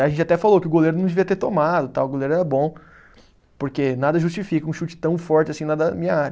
A gente até falou que o goleiro não devia ter tomado tal, o goleiro era bom, porque nada justifica um chute tão forte assim na da minha área.